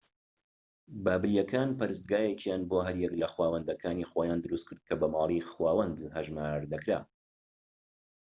بابلیەکان پەرستگایەکیان بۆ هەر یەک لە خوداوەندەکانی خۆیان دروستکرد کە بە ماڵی خوداوەند هەژمار دەکرا